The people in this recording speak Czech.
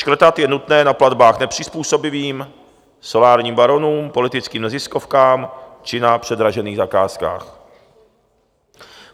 Škrtat je nutné na platbách nepřizpůsobivým, solárním baronům, politickým neziskovkám či na předražených zakázkách.